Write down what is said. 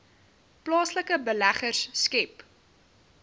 plaaslike beleggers skep